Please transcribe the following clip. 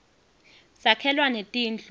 sakhelwa netindlu